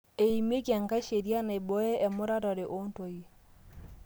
eimieki enkai sheria naibooyo emuratare oontoyie